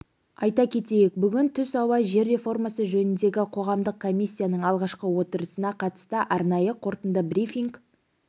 айта кетейік бүгін түс ауа жер реформасы жөніндегі қоғамдық комиссияның алғашқы отырысына қатысты арнайы қорытынды брифинг